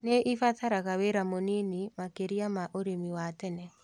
Nĩibataraga wĩra mũnini makĩria ma ũrĩmi wa tene